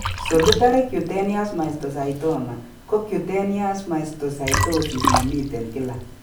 Solitary cutaneous mastocytoma ko cutaneous mastocytosis nemiten kila